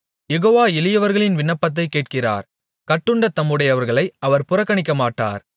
யெகோவா எளியவர்களின் விண்ணப்பத்தைக் கேட்கிறார் கட்டுண்ட தம்முடையவர்களை அவர் புறக்கணிக்கமாட்டார்